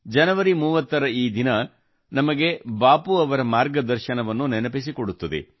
ಜನವರಿ 30 ರ ಈ ದಿನ ನಮಗೆ ಬಾಪು ಅವರ ಮಾರ್ಗದರ್ಶನವನ್ನು ನೆನಪಿಸಿಕೊಡುತ್ತದೆ